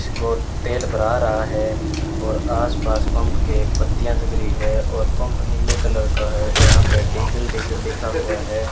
तेल भरा रहा है और आस-पास पंख के एक पत्तियां जल रही है और पंख नीले कलर का है यहां पे डीजल-डीजल लिखा हुआ है।